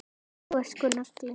Þú ert sko nagli.